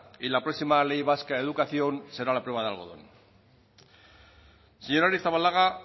y la próxima ley vasca de educación será la prueba del algodón señora arrizabalaga